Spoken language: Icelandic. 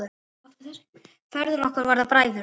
Feður okkar voru bræður.